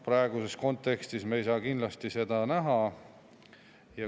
Praeguses kontekstis me ei saa kindlasti seda näha.